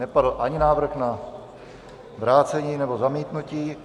Nepadl ani návrh na vrácení, nebo zamítnutí.